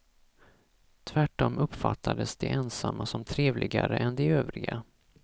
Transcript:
Tvärtom uppfattades de ensamma som trevligare än de övriga.